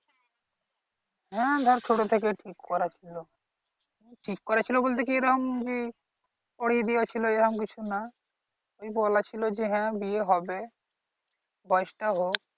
হ্যা ধরো ছোট থেকেই ঠিক করা ছিলো ঠিক করা ছিলো বলতে কি এরকম যে পড়িয়ে দেয়া ছিলো এরকম কিছু না এমনি বলা ছিলো যে হ্যা বিয়ে হবে বয়স টা হোক